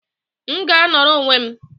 M ga-anọrọ onwe m!